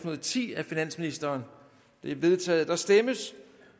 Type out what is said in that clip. og ti af finansministeren det er vedtaget der stemmes